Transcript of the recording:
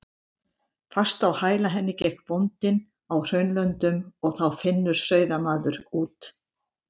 Fast á hæla henni gekk bóndinn á Hraunlöndum og þá Finnur sauðamaður úr